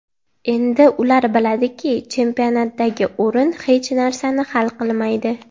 Endi ular biladiki, chempionatdagi o‘rin hech narsani hal qilmaydi.